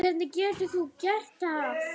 Hvernig getur þú gert það?